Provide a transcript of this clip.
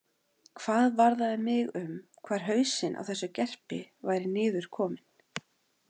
Hvað varðaði mig um hvar hausinn á þessu gerpi væri niður kominn?